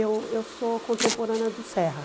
Eu eu sou contemporânea do Serra.